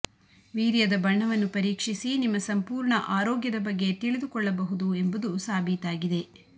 ವೀರ್ಯದ ಬಣ್ಣವನ್ನು ಪರೀಕ್ಷಿಸಿ ನಿಮ್ಮ ಸಂಪೂರ್ಣ ಆರೋಗ್ಯದ ಬಗ್ಗೆ ತಿಳಿದುಕೊಳ್ಳಬಹುದು ಎಂಬುದು ಸಾಬೀತಾಗಿದೆ